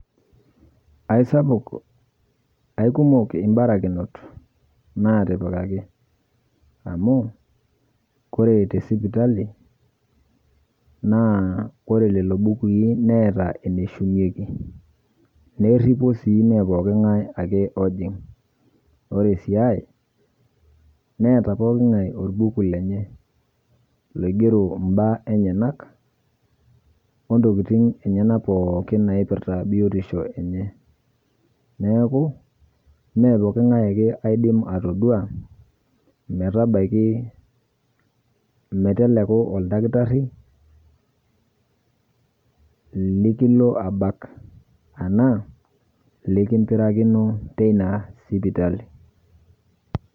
Aisapuk, aikumok ibarakinot naatipikaki, amu, kore te sipitali, naa ore lelo bukui neeta, eneshumieki, neripo sii ime pooki ng'ae ake ojing, pre esiai neeta pookin ng'ae olbuku. lenye, oigero mbaa enyenak, naipirta biotisho enye neeku imme pookin ng'ae ake oidim atodua meteleku oldakitari, likilo anal anaa oltungani likimpirakino teina sipitali.